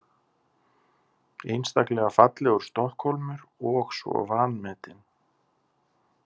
Einstaklega fallegur Stokkhólmur og svo vanmetinn.